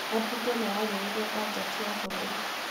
Ambunge mararĩrĩria bajeti ya gĩbũrũri